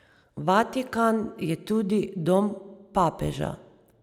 Vatikan je tudi dom papeža.